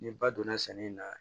Ni ba donna sɛnɛ na